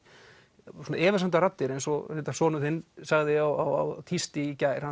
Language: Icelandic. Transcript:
og svona efasemdaraddir eins og sonur þinn sagði á tísti í gær